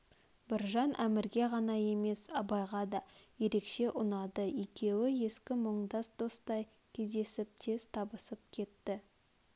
біржан әмірге ғана емес абайға да ерекше ұнады екеуі ескі мұңдас достай кездесіп тез табысып кетті